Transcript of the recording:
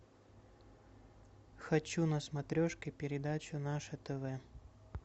хочу на смотрешке передачу наше тв